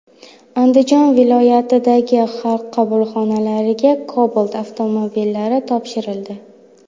Andijon viloyatidagi Xalq qabulxonalariga Cobalt avtomobillari topshirildi .